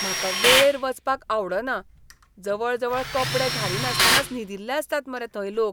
म्हाका वेळेर वचपाक आवडना. जवळजवळ कपडे घालिनासतनाच न्हिदिल्ले आसतात मरे थंय लोक!